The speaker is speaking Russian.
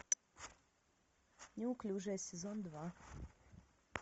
неуклюжая сезон два